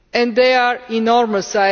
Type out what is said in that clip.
They are enormous.